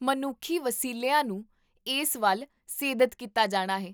ਮਨੁੱਖੀ ਵਸੀਲਿਆਂ ਨੂੰ ਇਸ ਵੱਲ ਸੇਧਤ ਕੀਤਾ ਜਾਣਾ ਹੈ